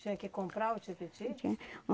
Tinha que comprar o tipiti?